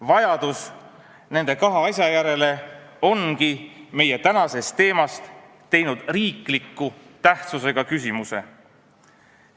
Vajadus nende kahe asja järele ongi meie tänasest teemast teinud riikliku tähtsusega küsimuse.